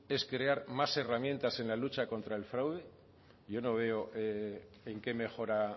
es crear más herramientas en la lucha contra el fraude yo no veo en qué mejora